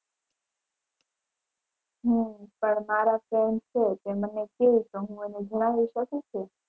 હમ પણ મારા friend છે તે મને કે તો હું એને જણાવી શકું કે.